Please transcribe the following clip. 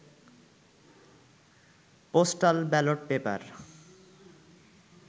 postal ballot paper